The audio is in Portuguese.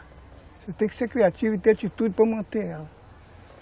Você tem que ser criativo e ter atitude para manter ela.